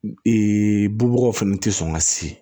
bubagaw fɛnɛ tɛ sɔn ka si